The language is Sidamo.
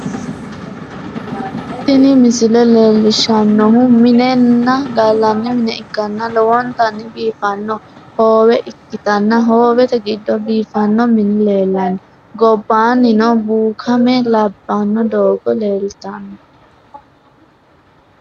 Tini misile leellishshannohu minenna gallanni mine ikkanna, lowontanni biifanno hoowe ikkitanna, hoowete giddo biifanno mini leellanno, gobbaannino bukaame labbino doogo leeltanno.